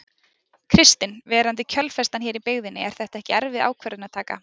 Kristinn: Verandi kjölfestan hér í byggðinni er þetta ekki erfið ákvörðunartaka?